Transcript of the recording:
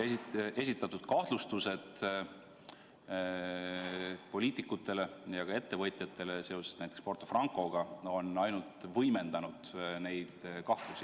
Esitatud kahtlustused poliitikutele ja ka ettevõtjatele seoses näiteks Porto Francoga on ainult võimendanud neid kahtlusi.